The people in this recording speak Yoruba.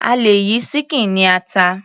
A lè yí ṣíkìn ní ata.